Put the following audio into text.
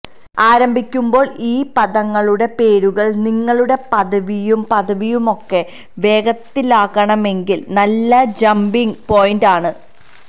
ആരംഭിക്കുമ്പോൾ ഈ പദങ്ങളുടെ പേരുകൾ നിങ്ങളുടെ പദവിയും പദവിയുമൊക്കെ വേഗത്തിലാക്കണമെങ്കിൽ നല്ല ജമ്പിങ് പോയിന്റ് ആണ്